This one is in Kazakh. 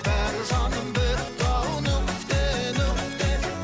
бәрі жаным бітті ау нүкте нүкте